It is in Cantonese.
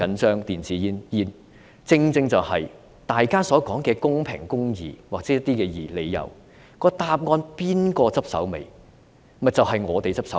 正正因為大家所說的公平公義，或類似的理由，由誰負責收拾殘局呢？